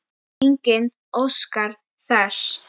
Enginn óskar þess.